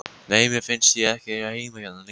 Nei, mér fannst ég ekki eiga heima hérna lengur.